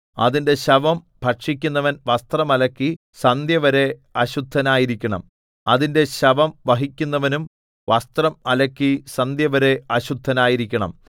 അതിന്റെ ശവം ഭക്ഷിക്കുന്നവൻ വസ്ത്രം അലക്കി സന്ധ്യവരെ അശുദ്ധനായിരിക്കണം അതിന്റെ ശവം വഹിക്കുന്നവനും വസ്ത്രം അലക്കി സന്ധ്യവരെ അശുദ്ധനായിരിക്കണം